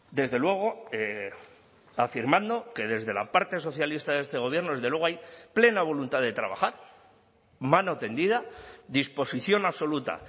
desde luego afirmando que desde la parte socialista de este gobierno desde luego hay plena voluntad de trabajar mano tendida disposición absoluta